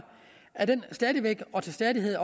stadig væk og til stadighed